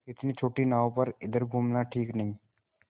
इतनी छोटी नाव पर इधर घूमना ठीक नहीं